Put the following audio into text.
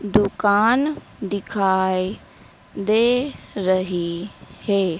दुकान दिखाई दे रही है।